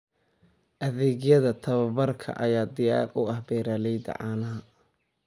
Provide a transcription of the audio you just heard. Adeegyada tababarka ayaa diyaar u ah beeralayda caanaha.